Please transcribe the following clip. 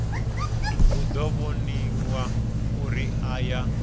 hu ḓo waniwa uri aya